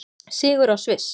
Sigur á Sviss